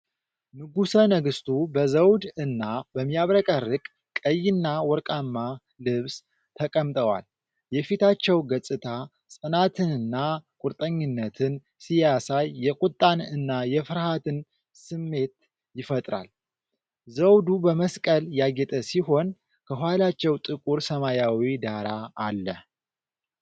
ንጉሠ ነገሥቱ በዘውድ እና በሚያብረቀርቅ ቀይና ወርቃማ ልብስ ተቀምጠዋል። የፊታቸው ገፅታ ፅናትንና ቁርጠኝነትን ሲያሳይ የቁጣን እና የፍርሃትን ስሜት ይፈጥራል። ዘውዱ በመስቀል ያጌጠ ሲሆን፣ ከኋላቸው ጥቁር ሰማያዊ ዳራ አለ።